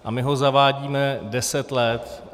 A my ho zavádíme deset let.